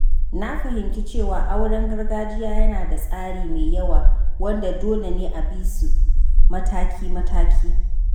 Na fahimci cewa auren gargajiya yana da tsari mai yawa wanda dole ne a bisu mataki-mataki.